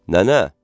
Nənə!